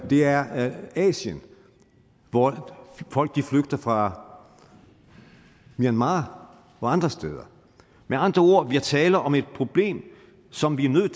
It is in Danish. det er asien hvor folk flygter fra myanmar og andre steder med andre ord vi taler om et problem som vi er nødt